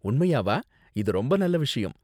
உண்மையாவா? இது ரொம்ப நல்ல விஷயம்.